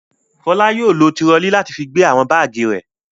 Fọlá yóò lọ turọlí láti fi gbé àwọn báágì rẹ̀.